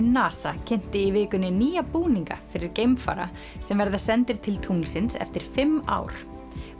NASA kynnti í vikunni nýja búninga fyrir geimfara sem verða sendir til tunglsins eftir fimm ár